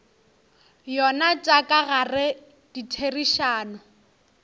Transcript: yona tša ka gare ditherišano